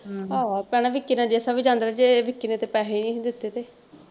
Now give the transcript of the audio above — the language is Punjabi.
ਵਿਕੀ ਨਾਲ ਜੇਸਾ ਵੀ ਜਾਂਦਾ ਰਿਹਾ ਜੇ ਵਿਕੀ ਨੇ ਤੇ ਪੈਸੇ ਹੀ ਨਹੀਂ ਸੀ ਦਿੱਤੇ ਤੇ।